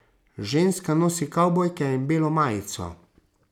Ženska nosi kavbojke in belo majico.